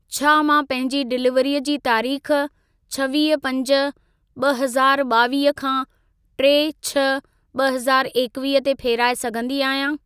छा मां पंहिंजी डिलीवरीअ जी तारीख छवीह पंज ॿ हज़ार ॿावीह खां टे छह ॿ हज़ार एकवीह ते फेराए सघंदी आहियां?